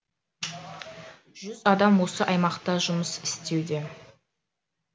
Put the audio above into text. жүз адам осы аймақта жұмыс істеуде